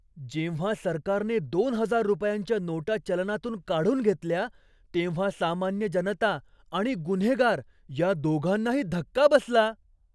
जेव्हा सरकारने दोन हजार रुपयांच्या नोटा चलनातून काढून घेतल्या तेव्हा सामान्य जनता आणि गुन्हेगार या दोघांनाही धक्का बसला.